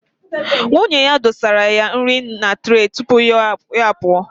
Nwunye ya dosara ya nri na tre tupu ya pụọ